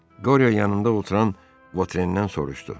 Qoryanın yanında oturan Voterindən soruşdu.